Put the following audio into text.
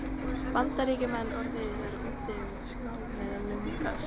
Bandaríkjamenn orðið sér úti um skrá yfir meðlimi þess.